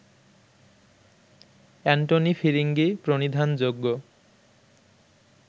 Antony Firingee প্রণিধানযোগ্য